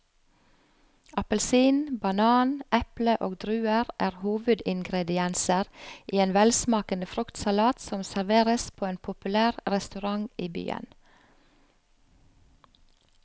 Appelsin, banan, eple og druer er hovedingredienser i en velsmakende fruktsalat som serveres på en populær restaurant i byen.